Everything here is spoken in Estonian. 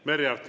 Merry Aart.